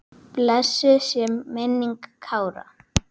Blessuð sé minning Kára.